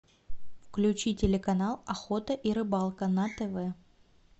включи телеканал охота и рыбалка на тв